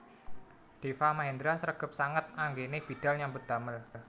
Deva Mahendra sregep sanget anggene bidhal nyambut damel